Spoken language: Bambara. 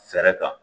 Fɛɛrɛ kan